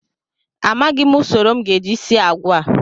Amaghịm usoro m ga-eji sie agwa a